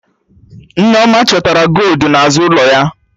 Nneoma chọtara goldu n'azụ ụlọ ya